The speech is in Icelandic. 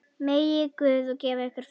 Megi Guð gefa ykkur frið.